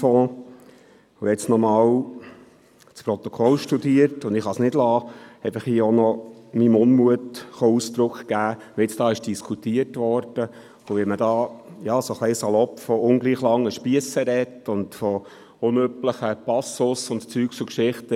Ich habe nun nochmals das Protokoll studiert und kann es nicht lassen, meinem Unmut darüber Ausdruck zu geben, wie hier diskutiert worden ist und wie man, etwas salopp, von ungleich langen Spiessen und von unüblichem Passus und so gesprochen hat.